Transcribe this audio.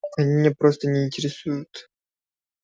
они меня просто не интересуют